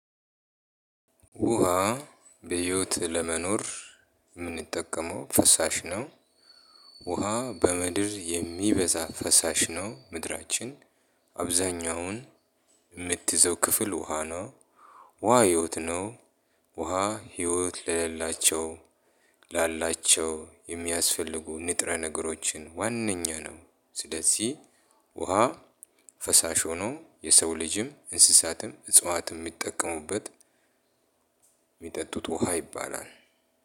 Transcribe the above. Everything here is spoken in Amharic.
ውሃ በሂወት ለመኖር የምንጠቀመው ፈሳሽ ነው። ውሃ በምድር የሚበዛ ፈሳሽ ነው። ምድራችን አብዛኛውን የምትይዘው ክፍል ውሃ ነው። ውሃ ህይወት ነው። ውሃ ህይወት ለሌላቸው ላላቸው የሚያስፈልጉ ንጥረ ነገሮችን ዋነኛ ነው። ስለዚህ ውሃ ፈሳሽ ሆኖ የሰው ልጅም እንስሳትም እጽዋትም የሚጠቀሙበት። የሚጠጡት ውሃ ይባላል።